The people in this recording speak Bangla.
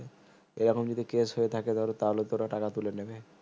এ রকম যদি case হয়ে থাকে তাহলেতো ওরা টাকা তুলে নিবে